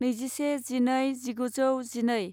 नैजिसे जिनै जिगुजौ जिनै